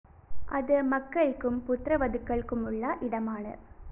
അത് മക്കള്‍ക്കും പുത്രവധുക്കള്‍മുള്ള ഇടമാണ്